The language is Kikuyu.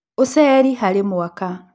Ũceri harĩ andũ harĩ mwaka